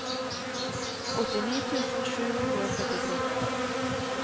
åttini tusen sju hundre og førtitre